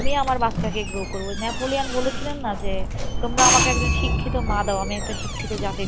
আমি আমার বাচ্চা কে grow করবো, ওই বলেছিলেন না যে তোমরা আমাকে একজন শিক্ষিত মা দাও আমি একটা শিক্ষিত জাতি দিবো।